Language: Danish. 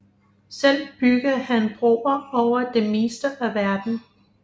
Selv bygger han broer over det meste af verden